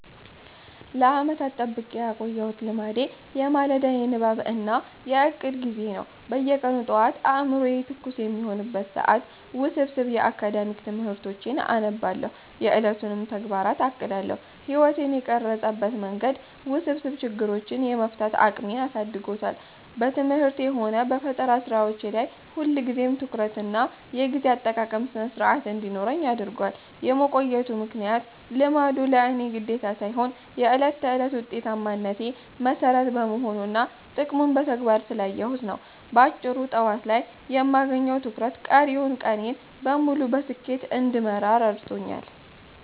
ለዓመታት ጠብቄ ያቆየሁት ልማዴ የማለዳ የንባብ እና የዕቅድ ጊዜ ነው። በየቀኑ ጠዋት አእምሮዬ ትኩስ በሚሆንበት ሰዓት ውስብስብ የአካዳሚክ ትምህርቶቼን አነባለሁ፤ የዕለቱንም ተግባራት አቅዳለሁ። ሕይወቴን የቀረጸበት መንገድ፦ ውስብስብ ችግሮችን የመፍታት አቅሜን አሳድጎታል። በትምህርቴም ሆነ በፈጠራ ሥራዎቼ ላይ ሁልጊዜም ትኩረትና የጊዜ አጠቃቀም ሥነ-ሥርዓት እንዲኖረኝ አድርጓል። የመቆየቱ ምክንያት፦ ልማዱ ለእኔ ግዴታ ሳይሆን የዕለት ተዕለት ውጤታማነቴ መሠረት በመሆኑና ጥቅሙን በተግባር ስላየሁት ነው። ባጭሩ፤ ጠዋት ላይ የማገኘው ትኩረት ቀሪውን ቀኔን በሙሉ በስኬት እንድመራ ረድቶኛል።